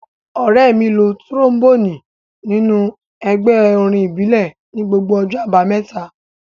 Ọ̀rẹ́ mi lo tíróḿbònì nínú ẹgbẹ́ orin ìbílẹ̀ ní gbogbo ọjọ́ àbámẹ́ta